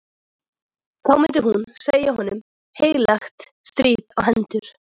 Þá myndi hún segja honum heilagt stríð á hendur!